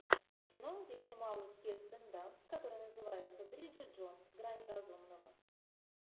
кино где снималась кирстен данст который называется бриджит джонс грани разумного